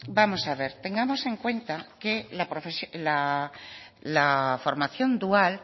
vamos a ver tengamos en cuenta que la formación dual